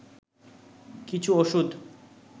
কিছু ওষুধ